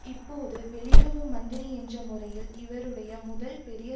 இப்போது வெளியுறவு மந்திரி என்ற முறையில் இவருடைய முதல் பெரிய